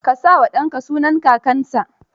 Ka sa wa danka sunan kakanka.